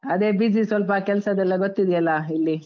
ಅದೇ busy ಸ್ವಲ್ಪ, ಕೆಲ್ಸದ್ದೆಲ್ಲ ಗೊತ್ತಿದ್ಯಲ್ಲ ಇಲ್ಲಿ.